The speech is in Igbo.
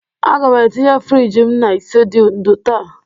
Aga m etinye friji m na ise dị ndụ taa